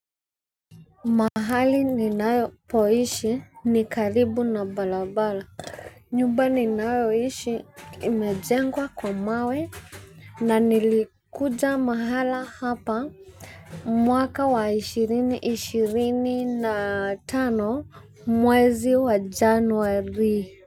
Mahali ninapoishi ni karibu na barabara. Nyumba ninayoishi imejengwa kwa mawe, na nilikuja mahali hapa. Mwaka wa ishirini ishirini na tano, mwezi wa Januari.